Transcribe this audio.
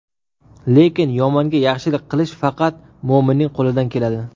Lekin yomonga yaxshilik qilish faqat mo‘minning qo‘lidan keladi.